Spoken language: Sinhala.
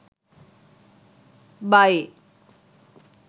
buy